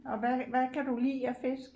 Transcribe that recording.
Og hvad hvad kan du lide af fisk